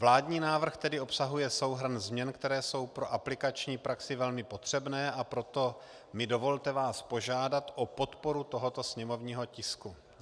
Vládní návrh tedy obsahuje souhrn změn, které jsou pro aplikační praxi velmi potřebné, a proto mi dovolte vás požádat o podporu tohoto sněmovního tisku.